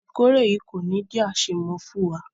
Ìkórè yìí kò ní jé àṣemọ fún wa.